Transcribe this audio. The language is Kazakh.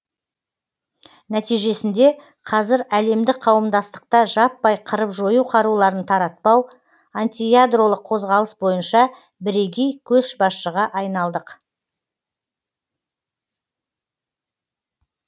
нәтижесінде қазір әлемдік қауымдастықта жаппай қырып жою қаруларын таратпау антиядролық қозғалыс бойынша бірегей көшбасшыға айналдық